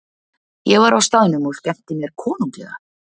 Ég var á staðnum og skemmti mér konunglega.